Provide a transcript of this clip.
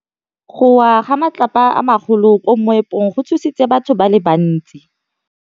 Go wa ga matlapa a magolo ko moepong go tshositse batho ba le bantsi.